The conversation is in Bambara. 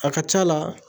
A ka c'a la